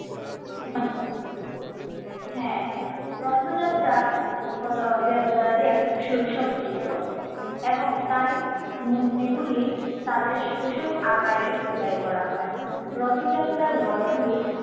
হ্যাঁ রথযাত্রা হলো দেবতাদের শৈশব চিত্র এবং তাই মূর্তি গুলি তাদের শৈশব আকারে খোদাই করা হয়। রথযাত্রার রথ গুলি